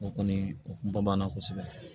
O kɔni o kun bɔ b'a na kosɛbɛ